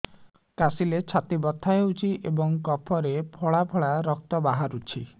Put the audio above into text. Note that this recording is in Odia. କାଶିଲେ ଛାତି ବଥା ହେଉଛି ଏବଂ କଫରେ ପଳା ପଳା ରକ୍ତ ବାହାରୁଚି